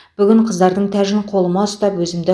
бүгін қыздардың тәжін қолыма ұстап өзімді